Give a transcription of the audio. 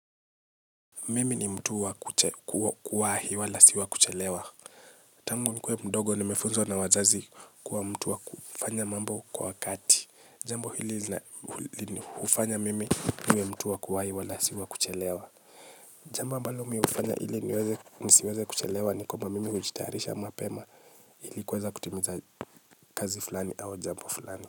Mimi ni mtu kuwahi wala si wa kuchelewa. Tangu nikuwe mdogo nimefunzwa na wazazi kuwa mtu wa kufanya mambo kwa wakati. Jambo hili ufanya mimi niwe mtu wa kuwahi wala si wa kuchelewa. Jambo ambalo miufanya hili niweze niweze kuchelewa ni kuamba mimi ujitarisha mapema. Hili kuweza kutimiza kazi fulani au jambo fulani.